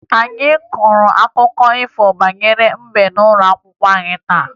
Anyị gụrụ akụkọ banyere mbe n'ụlọ akwụkwọ taa